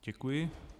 Děkuji.